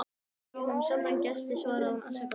Við fáum sjaldan gesti svaraði hún afsakandi.